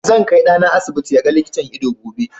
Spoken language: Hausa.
Zan kai ɗana asibiti ya ga likitan ido gobe.